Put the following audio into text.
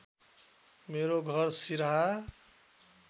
मेरो घर सिराहा